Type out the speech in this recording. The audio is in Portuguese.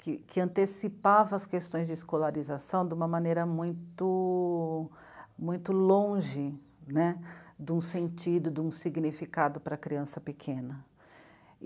que, que antecipava as questões de escolarização de uma maneira muito... muito longe, né, de um sentido, de um significado para a criança pequena.